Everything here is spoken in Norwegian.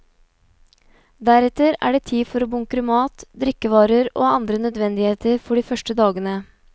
Deretter er det tid for å bunkre mat, drikkevarer og andre nødvendigheter for de første dagene.